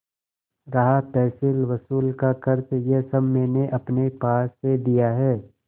रहा तहसीलवसूल का खर्च यह सब मैंने अपने पास से दिया है